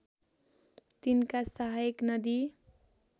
तिनका सहायक नदी